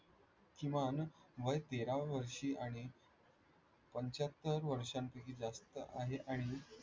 किमान वय तेरा वर्षी आणि पंच्याहत्तर वर्षांपैकी जास्त आहे आणि